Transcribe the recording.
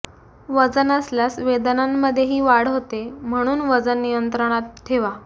वजन असल्यास वेदनांमध्ये ही वाढ होते म्हणून वजन नियंत्रणात ठेवा